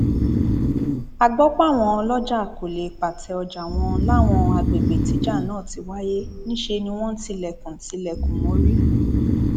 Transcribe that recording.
a gbọ páwọn ọlọjà kó lè pàtẹ ọjà wọn láwọn àgbègbè tíjà náà ti wáyé níṣẹ ni wọn tilẹkùn tilẹkùn mórí